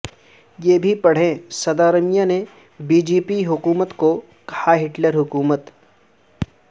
یہ بھی پڑھیں سدا رمیا نے بی جے پی حکومتکو کہا ہٹلر حکومت